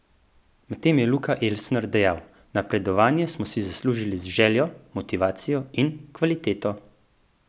Medtem je Luka Elsner dejal: "Napredovanje smo si zaslužili z željo, motivacijo in kvaliteto.